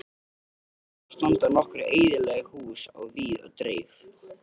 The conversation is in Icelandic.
Við ströndina standa nokkur eyðileg hús á víð og dreif.